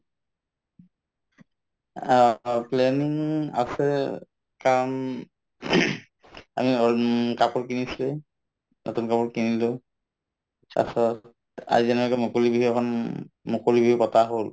আ, অ planning আছে কাৰণ আমি কাপোৰ কিনিছো নতুন কাপোৰ কিনিলো আজি যেনেকুৱাকে মুকলি বিহু এখন মুকলি বিহু পতা হল